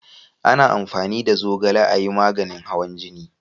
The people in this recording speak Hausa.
A na amfani da zogale a yi maganin hawan jini